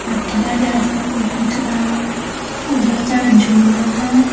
खटिया जैसा दिख रहा है उधर साइड झूला है।